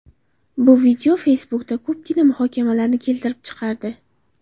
Bu video Facebook’da ko‘pgina muhokamalarni keltirib chiqardi.